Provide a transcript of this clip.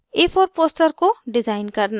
* a4 poster को design करना